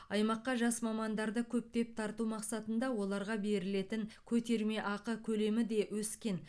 аймаққа жас мамандарды көптеп тарту мақсатында оларға берілетін көтерме ақы көлемі де өскен